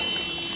Söndürün.